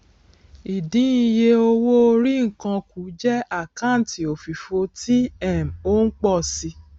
ìdín iye owóorí nǹkan kù jẹ àkáǹtì òfìfo tí um ó ń pọ si